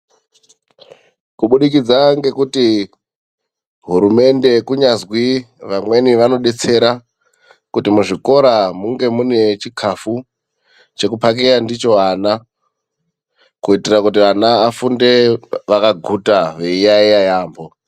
Kubudikidza ngekuti hurumende kunyazwi vamweni vanodetsera kuti muzvikora munge mune chikhafu chekuphakeya ndicho vana kuitira kuti vana vafunde vakaguta veiyaiya yaamho.